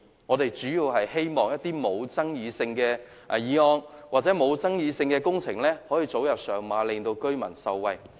我們主要是希望一些沒有爭議性的工程可以早日上馬，令居民受惠。